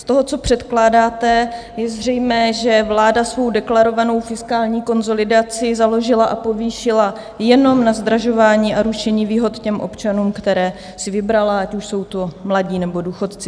Z toho, co předkládáte, je zřejmé, že vláda svou deklarovanou fiskální konsolidaci založila a povýšila jenom na zdražování a rušení výhod těm občanům, které si vybrala, ať už jsou to mladí, nebo důchodci.